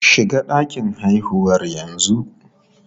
Shiga ɗakin haihuwar yanzu!